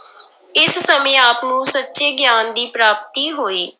ਇਸ ਸਮੇਂ ਆਪ ਨੂੰ ਸੱਚੇ ਗਿਆਨ ਦੀ ਪ੍ਰਾਪਤੀ ਹੋਈ।